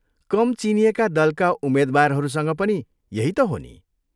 कम चिनिएका दलका उम्मेद्वारहरूसँग पनि यही त हो नि।